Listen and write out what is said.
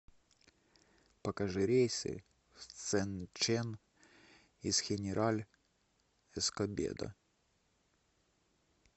покажи рейсы в цзэнчэн из хенераль эскобедо